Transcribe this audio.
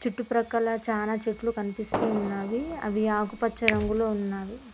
చుట్టు ప్రక్కల చానా చెట్లు కనిపిస్తున్నావి అవి ఆకుపచ్చ రంగులో ఉన్నవి.